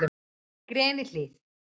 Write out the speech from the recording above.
Grenihlíð